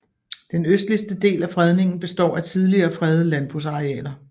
Den østligste del af fredningen består af tidligere fredede landbrugsarealer